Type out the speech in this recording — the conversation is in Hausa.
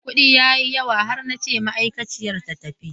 Kudi ya yi yawa har na ce ma'aikaciyar ta tafi.